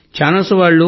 channels వాళ్లు